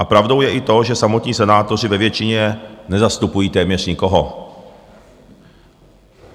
A pravdou je i to, že samotní senátoři ve většině nezastupují téměř nikoho.